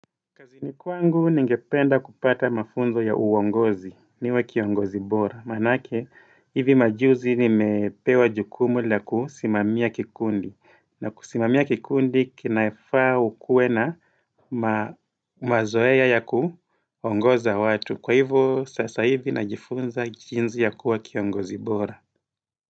Kazini kwangu ningependa kupata mafunzo ya uongozi niwe kiongozi bora Maanake hivi majuzi nimepewa jukumu la kusimamia kikundi na kusimamia kikundi kinafaa ukue na mazoea ya kuongoza watu Kwa hivyo sasa hivi najifunza jinsi ya kuwa kiongozi bora.